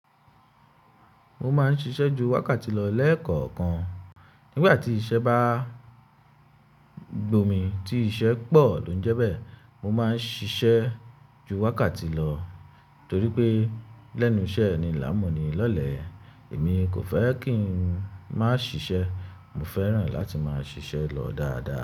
Mo máa ń ṣiṣẹ́ ju wákàtí lọ lẹ́ẹ̀kọ̀kan. Nígbà tí iṣẹ́ bá gbomi, tí iṣẹ́ pọ̀ ló ń jẹ bẹ́ẹ̀, mo máa ń ṣiṣẹ́ ju wákàtí lọ torí pé lẹ́nu iṣẹ́ eni l'a mo eni lọlé, èmi kò fẹ́ kí n má ṣiṣẹ́, mo fẹ́ràn láti máa ṣiṣẹ́ lọ dáadáa.